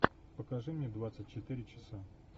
покажи мне двадцать четыре часа